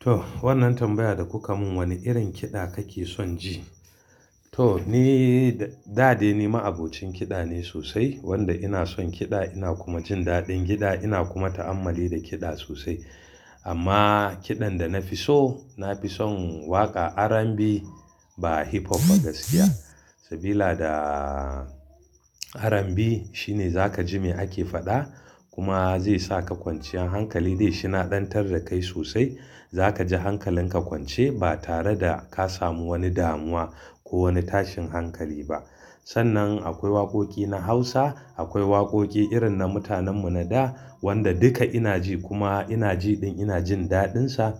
To, wannan tambaya da kuka mun, wane irin kiɗa kake son ji? To, ni da, da de ni ma'abocin kiɗa ne sosai wanda ina son kiɗa ina kuma jin daɗin kiɗa ina kuma ta'ammali da kiɗa sosai. Amma kiɗan da na fi so, na fi son waƙa RnB ba hip hop ba gaskiya. Sabila da RnB shine zaka ji me ake faɗa kuma zai saka kwanciyar hankali dai shi na ɗantar da kai sosai. Zaka ji hankalinka kwance ba tare da ka samu wani damuwa ko wani tashin hankali ba. Sannan akwai waƙoƙi na Hausa, akwai waƙoƙi irin na mutanen mu na da wanda duka ina ji kuma ina jiɗin ina jin daɗinsa,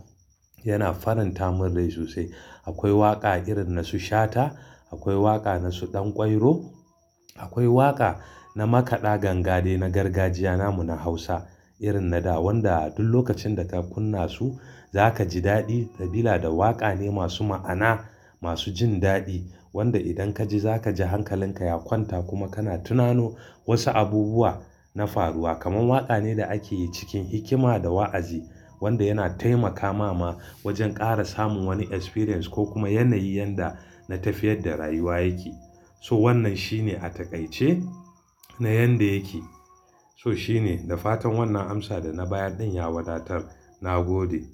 yana faranta mun rai sosai. Akwai waƙa irin na su Shata, akwai waƙa na su Ɗanƙwairo, akwai waƙa na makaɗa ganga dai na gargajiya na mu na Hausa irin na da wanda duk lokacin da ka kunna su zakaji dadi sabila da waka ne masu ma'ana, masu jin dadi, wanda idan kaji zakaji hankalinka ya kwanta kuma kana tinano wasu abubuwa na faruwa kaman waƙa ne da akeyi cikin hikima da wa'azi wanda yana taimakama ma wajen ƙara samun wani experience ko kuma yanayi yanda na tafiyar da rayuwa yake. So wannan shine a taƙaice na yanda yake. Toh shine, da fatan wannan amsa dana bayar din ya wadatar, nagode.